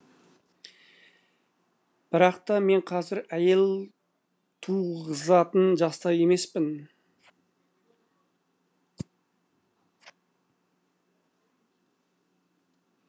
бірақ та мен қазір әйел туғызатын жаста емеспін